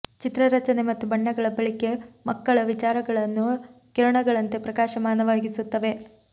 ಚಿತ್ರ ರಚನೆ ಮತ್ತು ಬಣ್ಣಗಳ ಬಳಿಕೆ ಮಕ್ಕಳ ವಿಚಾರಗಳನ್ನು ಕಿರಣಗಳಂತೆ ಪ್ರಕಾಶಮಾನವಾಗಿಸುತ್ತವೆ